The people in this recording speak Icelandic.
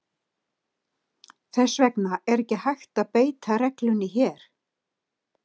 Þess vegna er ekki hægt að beita reglunni hér.